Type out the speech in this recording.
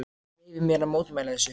En ég leyfi mér að mótmæla þessu.